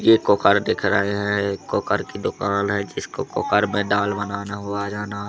ये कोकार दिख रहे है कोकार की दुकान है जिसको कोकर में दाल बनाना हो आ जाना--